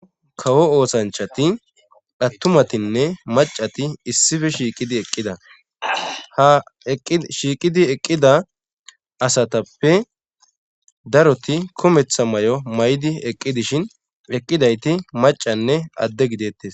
Kawo oosanchati hattumatinne macati issife shiiqidi eqqida ha shiiqidi eqqida asatappe daroti kumetha may7o maydi eqqi dishin eqqidayti macanne adde gidettes